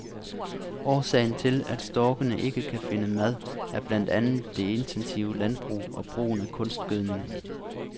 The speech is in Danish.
Årsagen til, at storkene ikke kan finde mad, er blandt andet det intensive landbrug og brugen af kunstgødning.